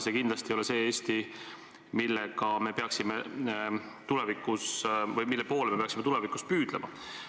See kindlasti ei ole see Eesti, mille poole me peaksime tulevikus püüdlema.